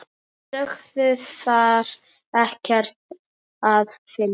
Sögðu þar ekkert að finna.